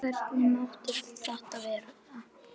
Hvernig mátti þetta verða?